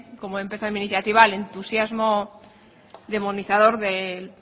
como he empezado en mi iniciativa al entusiasmo demonizador del